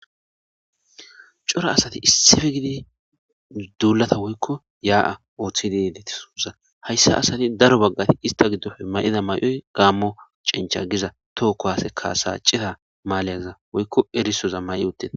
cora asati issippe gididi duulata woykko yaa7a ooththidileti suuza hayssa asati daro baggati ista giddofe may7ida may7oy gaammo cincha giza tookko hase kasacita maaleyaza woykko erisoza may7i utteta